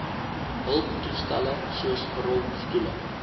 hulptoestelle soos rolstoele